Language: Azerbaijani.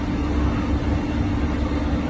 Yaranmış narahatlığa görə üzr istəyirik.